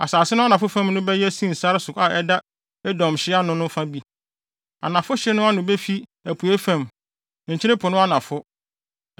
“ ‘Asase no anafo fam no bɛyɛ Sin sare so a ɛda Edom hye ano no fa bi. Anafo hye no ano befi apuei fam, Nkyene Po no anafo.